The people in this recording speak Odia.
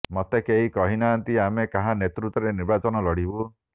ମତେ କେହି କହିନାହାଁନ୍ତି ଆମେ କାହା ନେତୃତ୍ୱରେ ନିର୍ବାଚନ ଲଢିବୁ